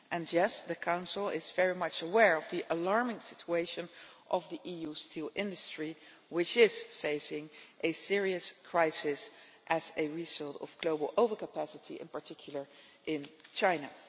Yes, the Council is very much aware of the alarming situation of the EU steel industry, which is facing a serious crisis as a result of global overcapacity, in particular in China.